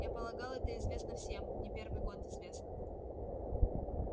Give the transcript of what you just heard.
я полагал это известно всем не первый год известно